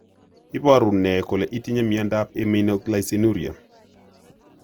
Iporu ne kole itinye miondap Iminoglycinuria?